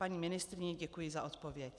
Paní ministryně, děkuji za odpověď.